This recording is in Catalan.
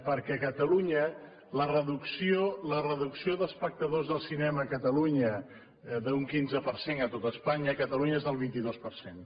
perquè a catalunya la reducció d’espectadors de cinema a catalunya d’un quinze per cent a tot espanya a catalunya és del vint dos per cent